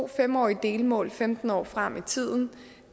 fem årige delmål femten år frem i tiden